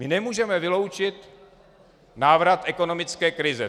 My nemůžeme vyloučit návrat ekonomické krize.